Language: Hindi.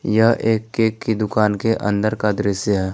यह एक केक की दुकान के अंदर का दृश्य है।